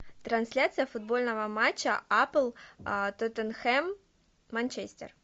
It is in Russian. трансляция футбольного матча апл тоттенхэм манчестер